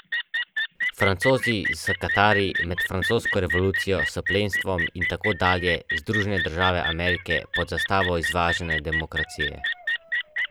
Zakon pravi, da se nova koncesija lahko podeli le pod pogojem, da je v mreži javnozdravstvenih storitev še nezasedeno mesto.